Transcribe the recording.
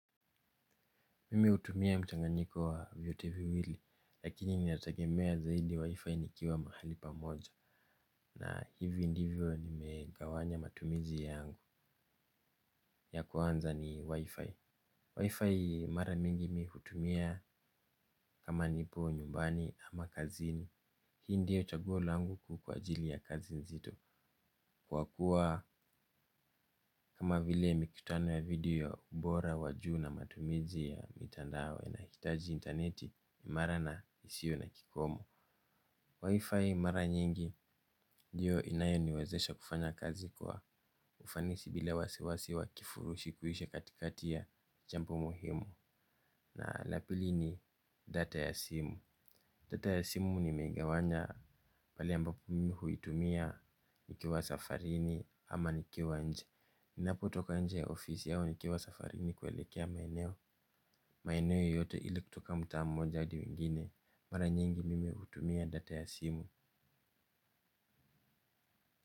Mimi hutumia mchaganyiko wa vitu viwili lakini nategemea zaidi wifi nikiwa mahali pa moja. Na hivi ndivyo nimegawanya matumizi yangu ya kwanza ni wi-fi Wi-fi mara mingi mi hutumia kama nipo nyumbani ama kazini. Hii ndiyo chaguo langu kuu kwa ajili ya kazi nzito kwa kuwa kama vile mikutano ya video bora wa juu na matumizi ya mitandao nahitaji interneti mara na isiyo na kikomo Wi-Fi mara nyingi ndiyo inayoniwezesha kufanya kazi kwa ufanisi bila wasiwasi wa kifurushi kuisha katikati ya chambo muhimu. Na la pili ni data ya simu. Data ya simu nimeigawanya pale ambapo mimi huitumia nikiwa safarini ama nikiwa nje. Ninapotoka nje ya ofisi au nikiwa safarini kuelekea maeneo. Maeneo yoyote ile kutoka mtaa mmoja hadi wengine. Mara nyingi mimi hutumia data ya simu.